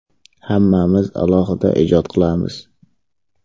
Hammamiz alohida ijod qilamiz.